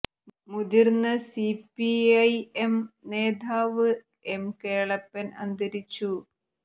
മുതിർന്ന C P I M നേതാവ് M Kelappan അന്തരിച്ചു